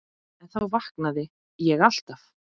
En þá vaknaði ég alltaf.